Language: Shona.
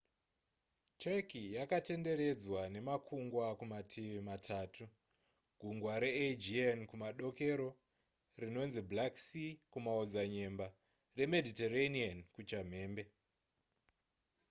turkey yakatenderedzwa nemakungwa kumativi matatu gungwa reaegean kumadokero rinonzi black sea kumaodzanyemba remediterranean kuchamhembe